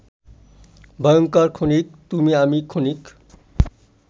ভয়ঙ্কর ক্ষণিক,-তুমি আমি ক্ষণিক